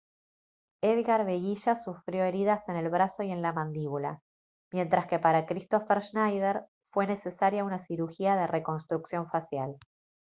edgar veguilla sufrió heridas en el brazo y en la mandíbula mientras que para kristoffer schneider fue necesaria una cirugía de reconstrucción facial